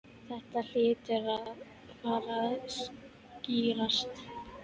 Þetta hlýtur að fara að skýrast